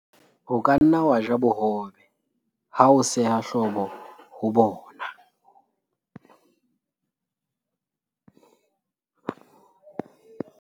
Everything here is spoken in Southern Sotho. o ka nna wa ja bohobe ha o seha hlobo ho bona